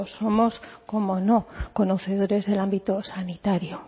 somos cómo no conocedores del ámbito sanitario